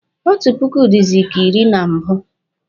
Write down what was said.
Otu puku dịzị ka iri na mbụ